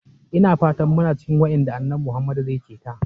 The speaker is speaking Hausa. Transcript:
Ina fatan muna cikin waƴanda annabi Muhammad zai ceta.